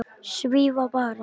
Svífa bara.